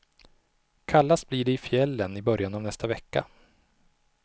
Kallast blir det i fjällen i början av nästa vecka.